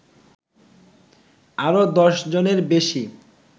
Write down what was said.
আরো দশজনের বেশী